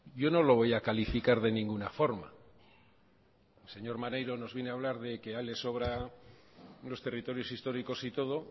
yo no lo voy a calificar de ninguna forma el señor maneiro nos viene a hablar de que a él le sobran los territorios históricos y todo